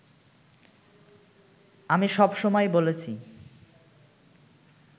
আমি সবসময় বলেছি